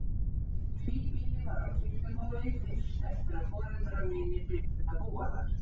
Tvíbýli var á Kirkjubóli fyrst eftir að foreldrar mínir byrjuðu að búa þar.